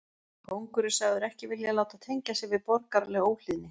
Kóngur er sagður ekki vilja láta tengja sig við borgaralega óhlýðni.